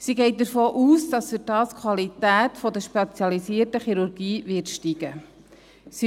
Sie geht davon aus, dass dadurch die Qualität der spezialisierten Chirurgie steigen wird.